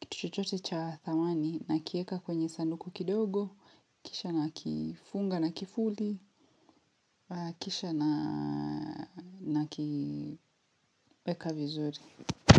kitu chochote cha thamani nakieka kwenye sanduku kidogo, kisha nakifunga na kifuli, kisha nakiweka vizuri.